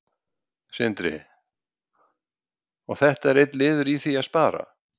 Sindri: Og þetta er einn liður í því að spara?